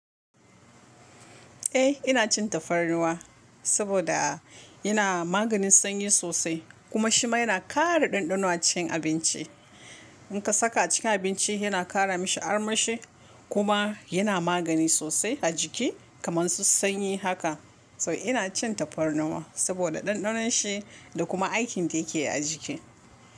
Eh ina cin tafarnuwa saboda yana maganin sanyi sosai kuma shima yana ƙara ɗanɗano acikin abinci. In ka saka cikin abinci yana ƙara mashi armashi kuma yana magani sosai a jiki kamar su sanyi haka. So ina cin tafarnuwa saboda ɗanɗanon shi da kuma aikin da yake a jiki.